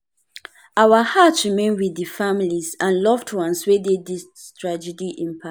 "our hearts remain wit di families and loved ones wey dis tragedy impact.